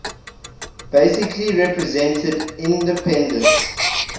basically represented independent